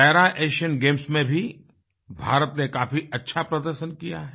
Para Asian Games में भी भारत ने काफी अच्छा प्रदर्शन किया है